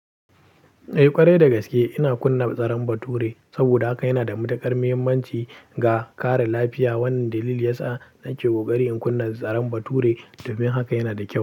Eh ƙwarai da gaske ina kunna zaren bature saboda haka yana da matuƙar muhimmanci ga kare lafiya. Wannan dalili yasa nake ƙoƙari in kunna zaren bature domin haka yana da kyau.